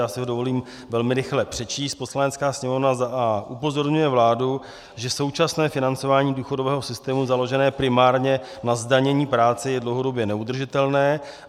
Já si ho dovolím velmi rychle přečíst: "Poslanecká sněmovna a) upozorňuje vládu, že současné financování důchodového systému založené primárně na zdanění práce je dlouhodobě neudržitelné;